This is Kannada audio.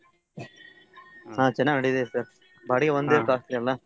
ಹಾ ಚನಾಗ ನಡಿತೇಟ್ sir ಬಾಡಿಗೆ ಒಂದ್ costly ಅಲ್ಲಾ.